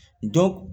Dɔ